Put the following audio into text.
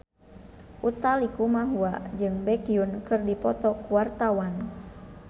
Utha Likumahua jeung Baekhyun keur dipoto ku wartawan